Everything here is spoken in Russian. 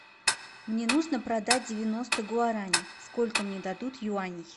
мне нужно продать девяносто гуарани сколько мне дадут юаней